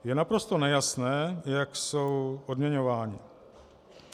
Je naprosto nejasné, jak jsou odměňováni.